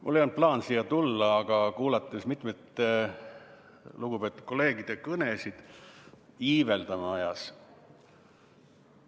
Mul ei olnud plaanis siia tulla, aga kuulates mitmete lugupeetud kolleegide kõnesid – iiveldama ajas.